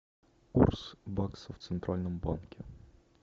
курс бакса в центральном банке